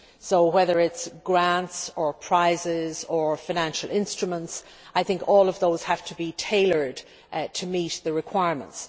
So whether it involves grants or prizes or financial instruments, I think all of those have to be tailored to meet the requirements.